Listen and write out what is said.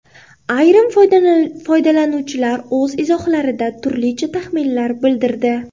Ayrim foydalanuvchilar o‘z izohlarida turlicha taxminlar bildirdi.